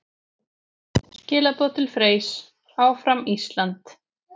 Skilaboð til Freys: Áfram Ísland!